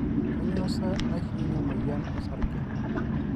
kanyo sa naishiunye emoyian osarge